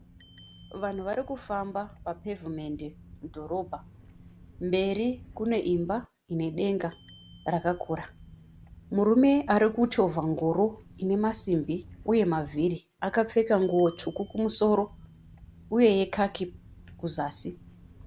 Vanhu varikufamba papevhimende mudhorobha, mberi kuneimba ine denga rakakura. Murume arikuchovha ngoro inemasimbi uye mavhiri. Akapfeka nguwo tsvuku kumusoro uye yekaki kuzasi.